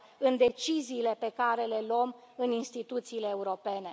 în deciziile pe care le luăm în instituțiile europene.